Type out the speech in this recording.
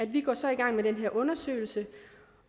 vi så i gang med den her undersøgelse